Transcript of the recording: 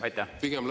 Aitäh!